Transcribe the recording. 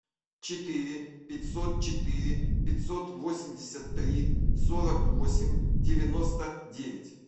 четыре пятьсот четыре пятьсот восемьдесят три сорок восемь девяносто девять